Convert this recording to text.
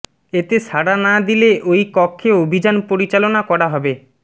এতে সাড়া না দিলে ওই কক্ষে অভিযান পরিচালনা করা হবে